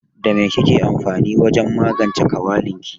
Da mai kike amfani wajen magance kawalin ki?